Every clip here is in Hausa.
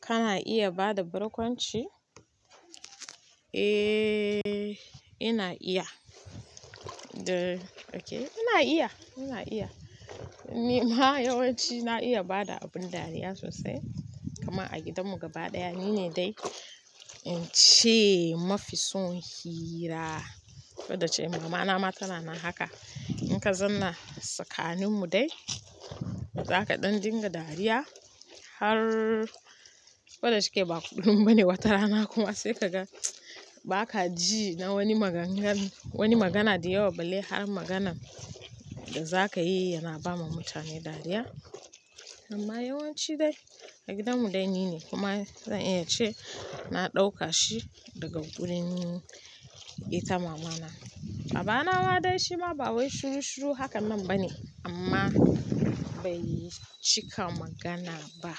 Kana iya bada barkwanci? Eeh ina iya. Ina iya ina iya, ni ma yawanci na iya bada abin dariya sosai. A gidanmu gaba ɗaya nine dai ince mafi son hira. Fada ce mamana ma tana nan haka. In kazanna tsakaninmu dai, zaka ɗan dinga dariya har fada shike ba kuɗin bane watarana kuma sai ka ga ba ka ji na wani maganganu, wani magana dayawa ba lai har maganan da za ka yi yana bama mutane dariya. Amma yawanci dai a gidanmu dai nine kuma zan iya ce na ɗauka shi daga wurin ita mamana. Babana ma dai shi ma ba wai shiru shiru hakan nan ba ne amma bai cika magana ba.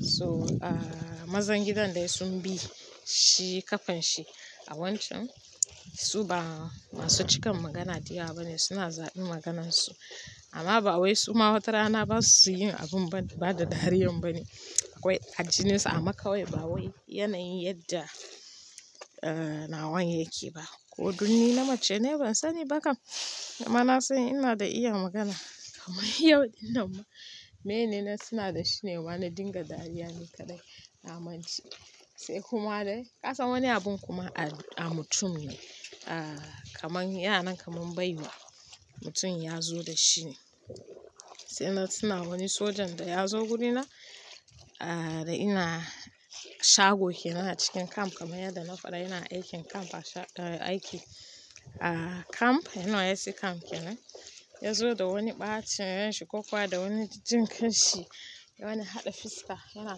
So mazan gidan dai sun bi shi kafan shi a wancan su ba masu cikan magana dayawa ba ne suna zaɓin maganansu amma ba wai su ma watarana ba su yin abin bada dariyan ba ne. Akwai ajininsu ama kawai ba wai yanayin yadda ah na wan ya ke ba. Ko dunni na mace ne ban sani ba kam amma na san ina da iya magana. Kamai yawancin nan ma mene suna da shi ne wa na dinga dariya ne kaɗai. Na mance sai kuma dai ka san wani abun kuma a mutum ne ah kamar yanan kamar baiwa mutum ya zo da shi ne. Sai na tuna wani sojan da ya zo gurina da ina shago ke nan a cikin camp kamar yadda na faɗa ina aikin camp a aiki camp yanar yasi camp kenan. Ya zo da wani ɓacin ranshi kokawa da wani jinkanshi. Wani haɗa fiska yana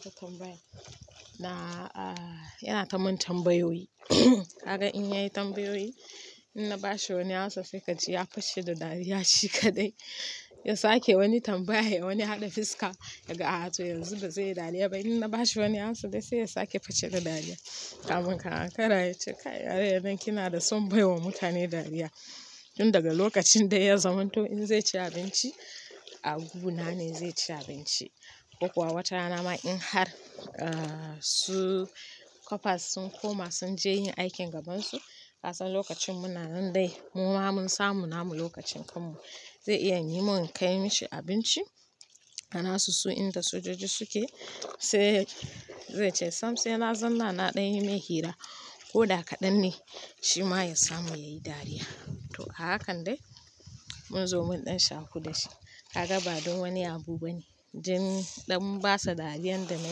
ta tambaya na ah yana ta mun tambayoyi. Kaga in yayi tambayoyi in na ba shi wani answer sa kaji ya fashe da dariya shi kaɗai ya sake wani tambaya wani haɗa fiska ya ga a to yanzu ba zai yi dariya ba. In na ba shi wani answer dai sai ya sake fashe da dariya. Kamun ka ankara yace kai yarinyan nan kina da son bai wa mutane dariya. Inda daga lokacin dai ya zamanto in zai ci abinci a guna na ne zai ci abinci ko kuwa watarana ma in har su kwapas sun koma sun je yin aikin gabansu. Ka san lokacin munanan dai mu ma mun samu namu lokacin kanmu. Zai iya ni mun kai mishi abinci ana su su inda sojoji suke sai zai ce sam sai na zanna na ɗan yi mai hira ko da kaɗan ne shi ma ya samu yayi dariya. To hakan dai mun zo mun ɗan shaƙu da shi. Kaga ba don wani abu ba ne. Jin ɗan basa dariyar da na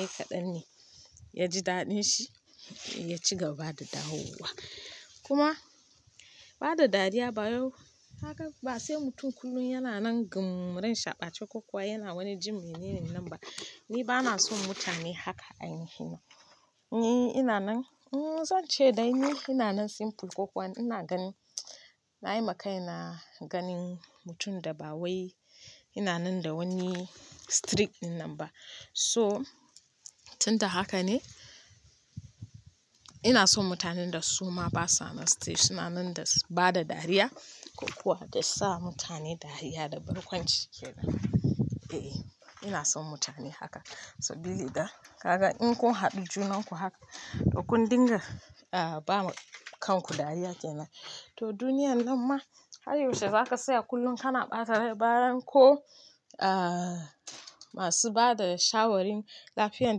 yi kaɗan ne ya ji daɗin shi ya ci gaba da dawowa. Kuma bada dariya ba yau haka ba sai mutum kullum yana nan gun ren shaɓace ko kuwa yana wani jin mai nini nan ba. Ni ba na son mutane haka a nihi na. Ni ina nan zan ce dai ni ina nan simple ko kuwa ina ganin na yi makai na ganin mutum da ba wai ina nan da wani strict innan ba. So tunda haka ne ina son mutanen da su ma basa na strict suna nan da bada dariya ko kuwa da sa mutane dariya da barkwanci kenan. Eh ina son mutane haka. So bili da kaga in kun haɗu junan ku haka ɗauku dinga bawa kanku dariya kenan. To duniyar nan ma har yaushe za ka tsaya kullum kana ɓata rai baran ko masu bada shawarin lafiyar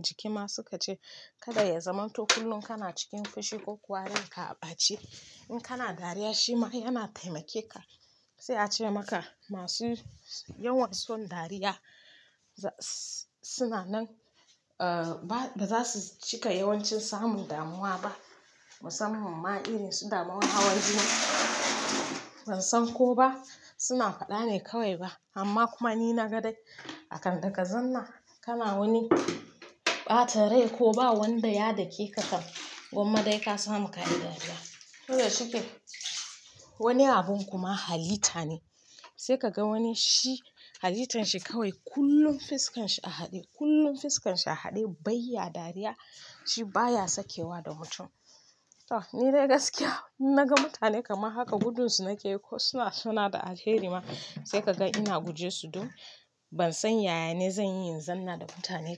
jiki ma suka ce kada ya zamanto kullum kana cikin fushi ko kuwa ranka a ɓace. In kana dariya shi ma yana taimake ka. Sai a ce maka masu yawan son dariya suna nan ba za su cika yawancin samun damuwa ba. Musamman ma irin su damuwan hawan jini ban san ko ba suna faɗa ne kawai ba. Amma kuma ni na ga dai akan dagazan nan kana wani ɓata rai ko ba wanda ya dake ka kan gwamma dai ka samu ka yi dariya. To da shuke wani abun kuma halita ne. Sai ka ga wani shi halitan shi kawai kullum fiskan shi a haɗe kullum fiskan shi a haɗe bai yi dariya shi baya sakewa da mutum. To ni dai gaskiya in na ga mutane kamar haka gudunsu nake ko suna suna da alheri ma sai ka ga ina guje su don ban san yaya ne zan yi in zan na da mutane.